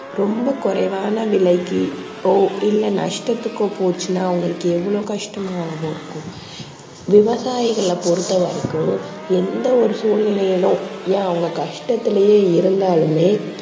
ரொம்ப குறைவான விலைக்குப் இல்ல நஷ்டத்துக்கோ போச்சுன்னா அவங்களுக்கு எவ்ளோ கஷ்டமாக இருக்கும். விவசாயிகளைப் பொறுத்த வரைக்கும் எந்த ஒரு சூழ்நிலையிலும் ஏன் அவங்க கஷ்டத்திலயே இருந்தாலுமே